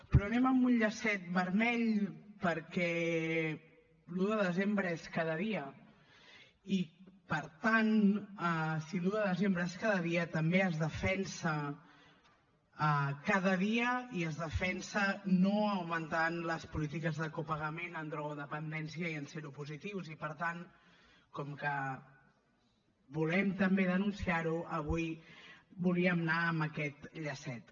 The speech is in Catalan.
però anem amb un llacet vermell perquè l’un de desembre és cada dia i per tant si l’un de desembre és cada dia també es defensa cada dia i es defensa no augmentant les polítiques de copagament en drogodependència i en seropositius i per tant com que volem també denunciar ho avui volíem anar amb aquest llacet